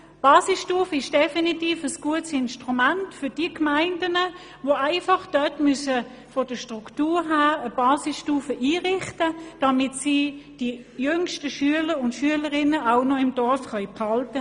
Diese ist definitiv ein gutes Instrument für Gemeinden, die von ihrer Struktur her eine solche einrichten müssen, um die jüngsten Schülerinnen und Schüler im Dorf behalten zu können.